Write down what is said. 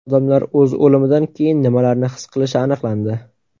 Odamlar o‘z o‘limidan keyin nimalarni his qilishi aniqlandi.